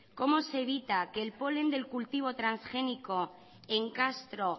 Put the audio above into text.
cómo se evita que el polen del cultivo transgénico en castro